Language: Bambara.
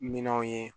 Minɛnw ye